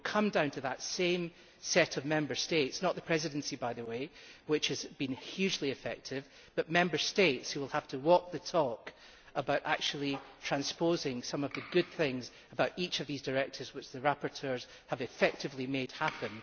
So it will come down to that same set of Member States not the Presidency, by the way, which has been hugely effective but Member States, which will have to walk the walk when it comes to transposing some of the good things from each of these directives which the rapporteurs have effectively made happen.